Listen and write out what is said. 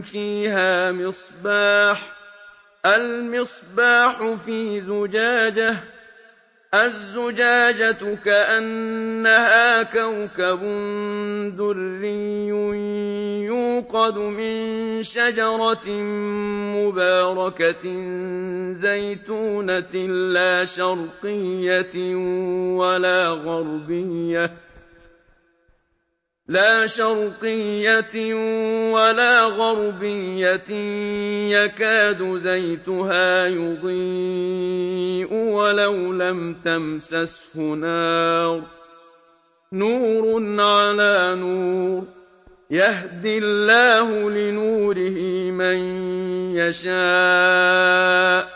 فِيهَا مِصْبَاحٌ ۖ الْمِصْبَاحُ فِي زُجَاجَةٍ ۖ الزُّجَاجَةُ كَأَنَّهَا كَوْكَبٌ دُرِّيٌّ يُوقَدُ مِن شَجَرَةٍ مُّبَارَكَةٍ زَيْتُونَةٍ لَّا شَرْقِيَّةٍ وَلَا غَرْبِيَّةٍ يَكَادُ زَيْتُهَا يُضِيءُ وَلَوْ لَمْ تَمْسَسْهُ نَارٌ ۚ نُّورٌ عَلَىٰ نُورٍ ۗ يَهْدِي اللَّهُ لِنُورِهِ مَن يَشَاءُ ۚ